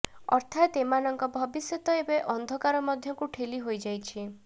ଅର୍ଥାତ ଏମାନଙ୍କ ଭବିଷ୍ୟତ ଏବେ ଅନ୍ଧକାର ମଧ୍ୟକୁ ଠେଲି ହୋଇଯାଇଛି